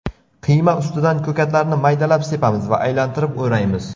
Qiyma ustidan ko‘katlarni maydalab sepamiz va aylantirib o‘raymiz.